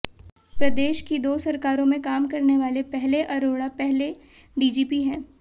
प्रदेश की दो सरकारों में काम करने वाले पहले अरोड़ा पहले डीजीपी हैैं